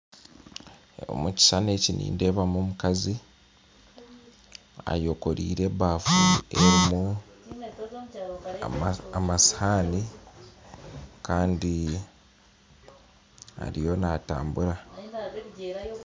Omu kishushani eki nindeebamu omukazi eyekoreire ebafu erimu amashohani kandi ariyo naatumbura